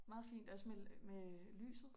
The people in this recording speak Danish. Meget fint også med med øh lyset